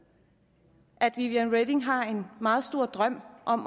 at viviane reding har en meget stor drøm om